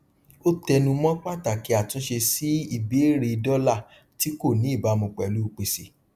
ó tẹnumọ pàtàkì àtúnṣe sí ìbéèrè dọlà tí kò ní ìbámu pẹlú pèsè